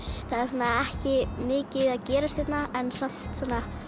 það er ekki mikið að gerast hérna en samt